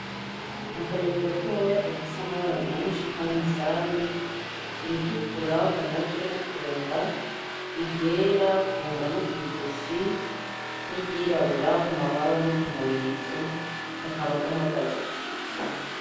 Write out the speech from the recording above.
Ni akanyoni gatoya gafise amabara menshi nkayo umusumbi, iritukura k'umutwe no kunda, iryera kunda no kwizosi, n'iryirabura kumababa no k'umurizo, kakaba gahagaze kugiti.